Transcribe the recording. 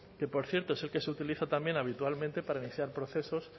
que por cierto es el que se utiliza también habitualmente para iniciar procesos